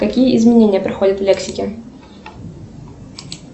какие изменения проходят в лексике